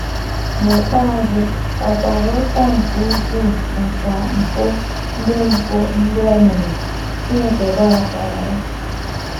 N’ikpeazụ, ọ kwara ụta nke ukwuu maka mpụ ndị mpụ ndị o mere, Chineke gbaghakwaara ya.